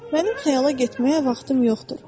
Mənim xəyala getməyə vaxtım yoxdur.